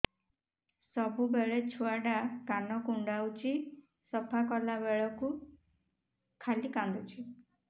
ସବୁବେଳେ ଛୁଆ ଟା କାନ କୁଣ୍ଡଉଚି ସଫା କଲା ବେଳକୁ ଖାଲି କାନ୍ଦୁଚି